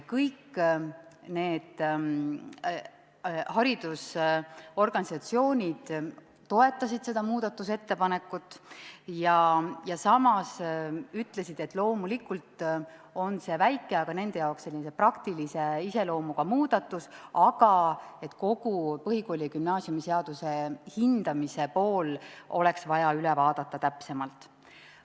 Kõik need haridusorganisatsioonid toetasid seda muudatusettepanekut ja samas ütlesid, et loomulikult on see väike, aga nende jaoks praktilise iseloomuga muudatus, kuid kogu põhikooli- ja gümnaasiumiseaduse hindamise pool oleks vaja täpsemalt üle vaadata.